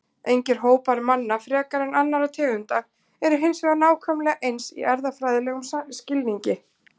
Engir hópar manna frekar en annarra tegunda eru hins vegar nákvæmlega eins í erfðafræðilegum skilningi.